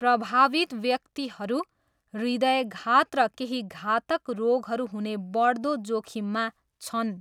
प्रभावित व्यक्तिहरू हृदयघात र केही घातक रोगहरू हुने बढ्दो जोखिममा छन्।